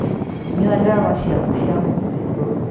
Nyua ndawa ciaku cia mũkingo